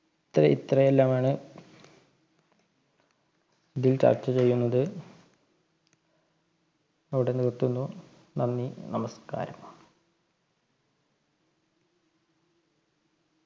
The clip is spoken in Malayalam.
ഇത്ര ഇത്രയെല്ലാമാണ് ഇതിൽ ചർച്ച ചെയ്യുന്നത് ഇവിടെ നിർത്തുന്നു നന്ദി നമസ്കാരം